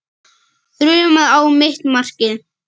Þrumaði á mitt markið.